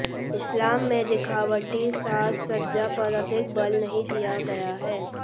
इस्लाम में दिखावटी साज सज्जा पर अधिक बल नहीं दिया गया है